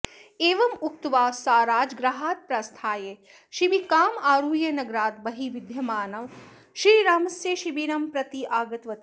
एवम् उक्त्वा सा राजगृहात् प्रस्थाय शिबिकाम् आरुह्य नगरात् बहिः विद्यमानं श्रीरामस्य शिबिरं प्रति आगतवती